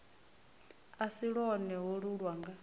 a si lwone holu lwanga